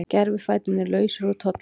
Gervifæturnir lausir úr tolli